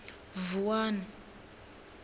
vuwani